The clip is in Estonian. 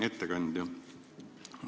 Hea ettekandja!